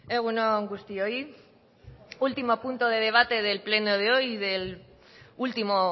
egun on guztioi último punto de debate del pleno de hoy y del último